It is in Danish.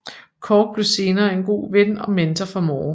Cork blev senere en god ven og mentor for Moore